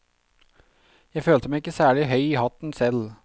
Jeg følte meg ikke særlig høy i hatten selv.